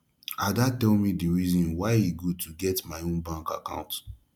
ada tell me the reason why e good to get my own bank account